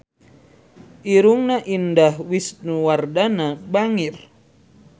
Irungna Indah Wisnuwardana bangir